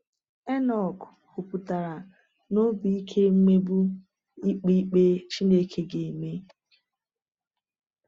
Enọk kwupụtara na obi ike mmegbu ikpe ikpe Chineke ga-eme.